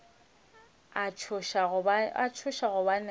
a tšhoša gobane a be